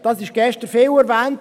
Dies wurde gestern viel erwähnt.